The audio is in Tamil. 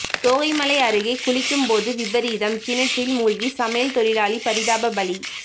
தோகைமலை அருகே குளிக்கும் போது விபரீதம் கிணற்றில் மூழ்கி சமையல் தொழிலாளி பரிதாப பலி